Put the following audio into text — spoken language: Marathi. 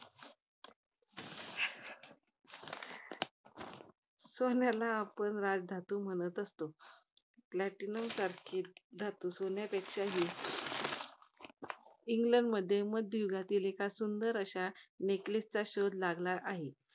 सोन्याला आपण राजधातू म्हणत असतो. Platinum सारखे धातू सोन्यापेक्षाही इंग्लंडमध्ये मध्ययुगातील एका सुंदर अशा neckless चा शोध लागला आहे.